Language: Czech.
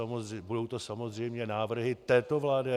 A budou to samozřejmě návrhy této vlády.